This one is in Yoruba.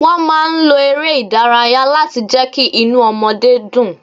Wọ́n máa ń lo ère ìdárayá láti jẹ kí inú ọmọdé dùn.